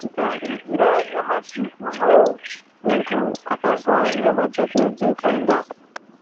Tikaringira nyamashi unou muntu akanzwa nyama dzake dzeipanda